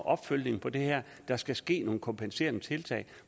opfølgning på det her at der skal ske nogle kompenserende tiltag